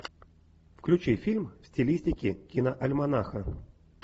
включи фильм в стилистике киноальманаха